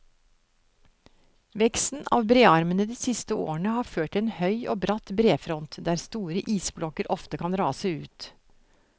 Veksten av brearmene de siste årene har ført til en høy og bratt brefront, der store isblokker ofte kan rase ut.